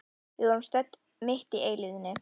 Við vorum stödd mitt í eilífðinni.